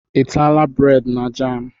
I ataala bureedi na jam?